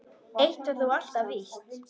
Eitt var þó alltaf víst.